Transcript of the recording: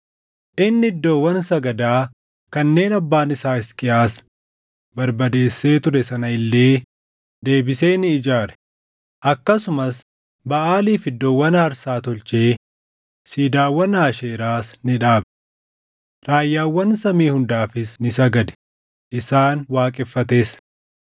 Inni iddoowwan sagadaa kanneen abbaan isaa Hisqiyaas barbadeessee ture sana illee deebisee ni ijaare; akkasumas Baʼaaliif iddoowwan aarsaa tolchee siidaawwan Aasheeraas ni dhaabe. Raayyaawwan samii hundaafis ni sagade; isaan waaqeffates.